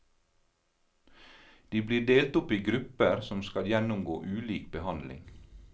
De blir delt opp i grupper som skal gjennomgå ulik behandling.